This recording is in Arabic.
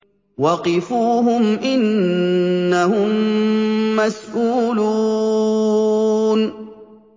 وَقِفُوهُمْ ۖ إِنَّهُم مَّسْئُولُونَ